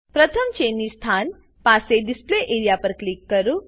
પ્રથમ ચેનની સ્થાન પાસે ડિસ્પ્લે એઆરઇએ પર ક્લિક કરો